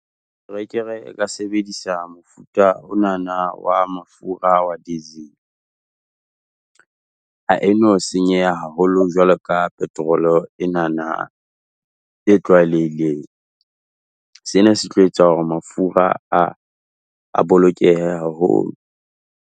Terekere e ka sebedisa mofuta o nana wa mafura wa diesel. Ha e no senyeha haholo jwalo ka petrol-o e nana e tlwaelehileng. Sena se tlo etsa hore mafura a, a bolokehe haholo.